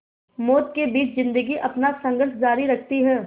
मौत के बीच ज़िंदगी अपना संघर्ष जारी रखती है